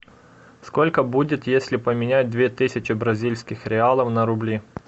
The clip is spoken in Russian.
сколько будет если поменять две тысячи бразильских реалов на рубли